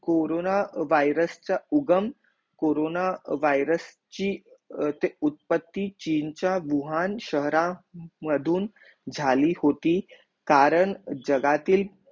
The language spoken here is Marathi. कोरोना वायरस च्या उगम कोरोना वायरस ची ते उतपतती चीन च्या वूहान शहरा मधून जाली होती कारण जगहतील